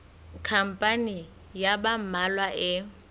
khampani ya ba mmalwa e